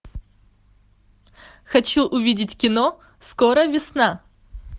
хочу увидеть кино скоро весна